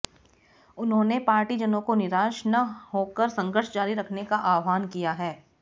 उन्होंने पार्टीजनों को निराश ना होकर संघर्ष जारी रखने का आह्वान किया है